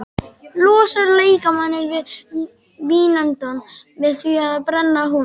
Losar líkamann við vínandann með því að brenna honum.